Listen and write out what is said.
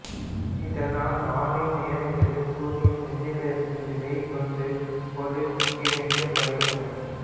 இதனால் நாளின் நேரங்கள் சூரியன் விண்ணில் இருக்கும் நிலையைக் கொண்டு ஒருங்கிணைக்கப்படுகின்றன